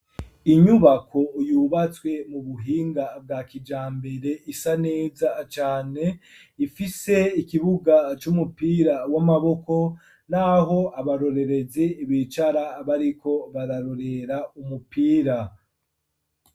Inyubako yubatswe mu buhinga bwa kijambere isa neza cane ifise ikibuga c'umupira w'amaboko, naho abarorereze ibicara abariko bararorera umupira.